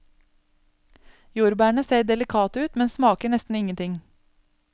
Jordbærene ser delikate ut, men smaker nesten ingenting.